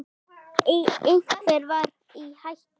Einhver var í hættu.